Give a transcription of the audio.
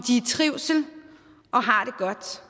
i trivsel og har det godt